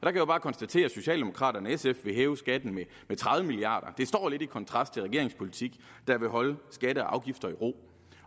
jeg jo bare konstatere at socialdemokraterne og sf vil hæve skatten med tredive milliarder det står lidt i kontrast til regeringens politik der vil holde skatter og afgifter i ro